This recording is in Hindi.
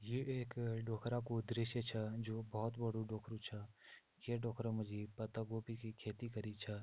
ये एक ढोखरा कु दृश्या छा जु बहोत बड़ु ढोखरु छ ये ढोखरु मा जी पत्तागोबी की खेती करी छा।